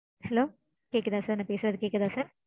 Hello கேக்குதா sir நா பேசறது கேக்குதா sir?